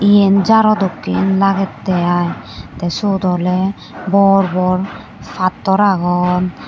yen jaro dekken lagettey i tey syot oley bor bor pattor agon.